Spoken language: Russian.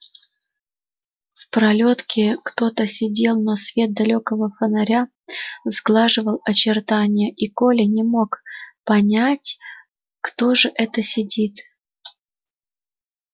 в пролётке кто то сидел но свет далёкого фонаря сглаживал очертания и коля не мог понять кто же это сидит